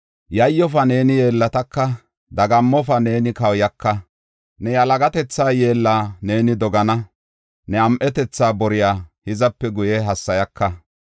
“Yayyofa; neeni yeellataka; dagammofa; neeni kawuyaka. Ne yalagatetha yeella neeni dogana; ne am7etetha boriya hizape guye hassayaka.